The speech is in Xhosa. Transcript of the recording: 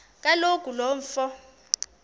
kaloku lo mfo